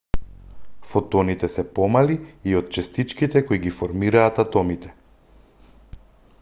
фотоните се помали и од честичките кои ги формираат атомите